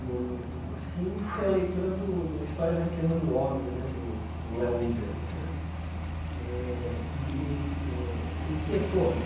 no no no cursinho, foi a leitura do do História da Riqueza do Homem né, do do Léo Huberman né eh, que me eh inquietou.